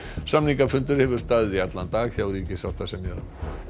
samningafundur hefur staðið í allan dag hjá ríkissáttasemjara